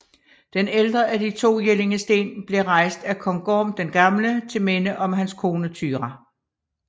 Den ældre af de to jellingesten blev rejst af Kong Gorm den Gamle til minde om hans kone Thyra